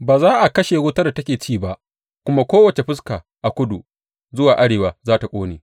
Ba za a kashe wutar da take ci ba, kuma kowace fuska a kudu zuwa arewa za tă ƙone.